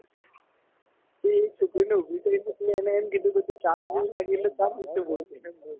તે એક છોકરીને ઉભી કરીને એને એમ કીધું કે ચાંદ વિશે બોલ